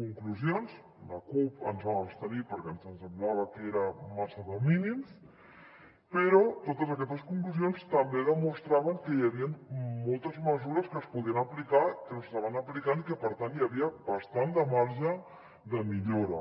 conclusions la cup ens hi vam abstenir perquè ens semblava que era massa de mínims però totes aquestes conclusions també demostraven que hi havien moltes mesures que es podien aplicar que no s’estaven aplicant i que per tant hi havia bastant de marge de millora